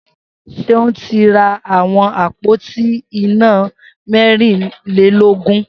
Seun ti rá awọn ápótí iná mẹ̀rínlélógùn